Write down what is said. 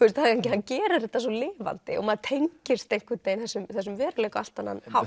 hann gerir þetta svo lifandi og maður tengist einhvern veginn þessum þessum veruleika á allt annan hátt